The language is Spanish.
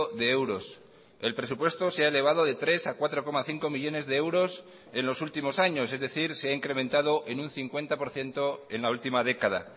de euros el presupuesto se ha elevado de tres a cuatro coma cinco millónes de euros en los últimos años es decir se ha incrementado en un cincuenta por ciento en la última década